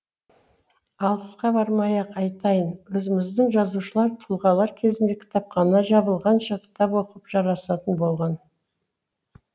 алысқа бармай ақ айтайын өзіміздің жазушылар тұлғалар кезінде кітапхана жабылғанша кітап оқып жарасатын болған